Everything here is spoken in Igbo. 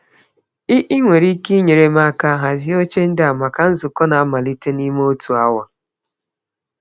Ị Ị nwere ike inyere m aka hazie oche ndị a maka nzukọ na-amalite n'ime otu awa.